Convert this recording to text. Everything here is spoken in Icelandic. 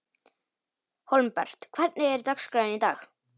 Hólmbert, hvernig er dagskráin í dag?